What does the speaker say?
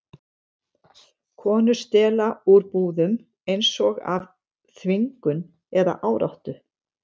Konur stela úr búðum, eins og af þvingun eða áráttu.